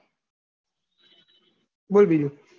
બોલ બીજું